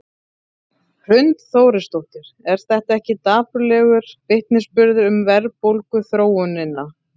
Hrund Þórsdóttir: Er þetta ekki dapurlegur vitnisburður um verðbólguþróunina?